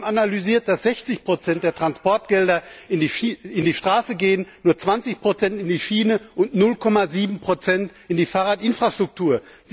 Wir haben analysiert, dass 60 Prozent der Transportgelder in die Straße gehen, nur 20 Prozent in die Schiene und 0,7 Prozent in die Fahrradinfrastruktur.